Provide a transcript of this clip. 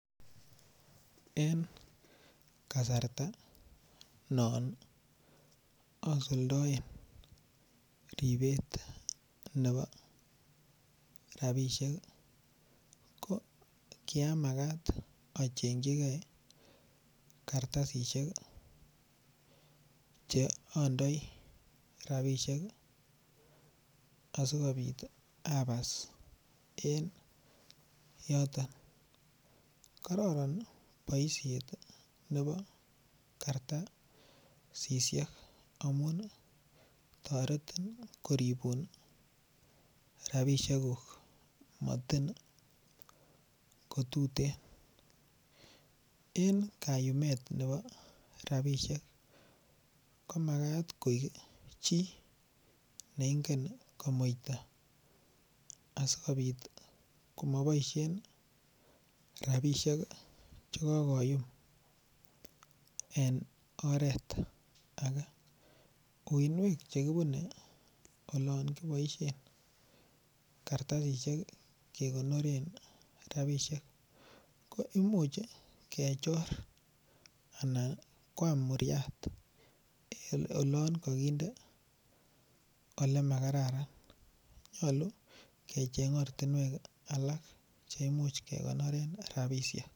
En kasarta non asuldaen ribet nebo rabisiek ko kiamagat a chengchigei kartasisyek Che andoi rabisiek asikobit abas en yoton kororon boisiet nebo kartasisyek amun toretin koribun rabisiekuk motin ko tuten en kayumet nebo rabisiek ko Magat koik chi ne ingen komuita asikobit ko moboisien rabisiek Che kogoyumrn oret age uinwek Che kibune olon kiboisien kartasisyek kegonoren rabisiek ko Imuch kechor anan koam muryat olon kakinde Ole makararan nyolu kecheng ortinwek alak Che Imuch kegonoren rabisiek